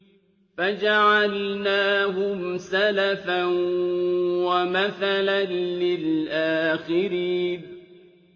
فَجَعَلْنَاهُمْ سَلَفًا وَمَثَلًا لِّلْآخِرِينَ